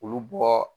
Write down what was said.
Olu bɔ